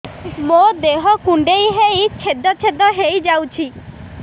ମୋ ଦେହ କୁଣ୍ଡେଇ ହେଇ ଛେଦ ଛେଦ ହେଇ ଯାଉଛି